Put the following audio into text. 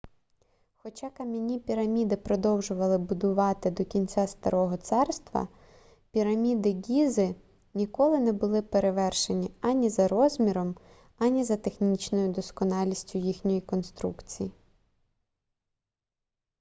хоча кам'яні піраміди продовжували будувати до кінця старого царства піраміди ґізи ніколи не були перевершені ані за розміром ані за технічною досконалістю їхньої конструкції